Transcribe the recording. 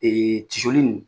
tisoli nin